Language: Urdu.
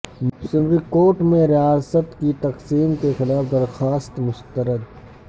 سپریم کورٹ میں ریاست کی تقسیم کے خلاف درخواست مسترد